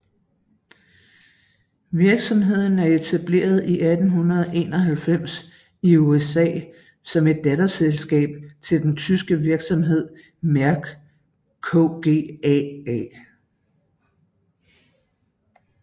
Virksomheden er etableret i 1891 i USA som et datterselskab til den tyske virksomhed Merck KGaA